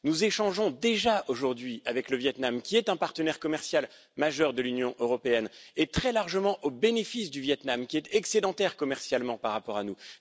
Nous échangeons déjà aujourd'hui avec le Viêt Nam, qui est un partenaire commercial majeur de l'Union européenne très largement au bénéfice du Viêt Nam, excédentaire commercialement par rapport à nous.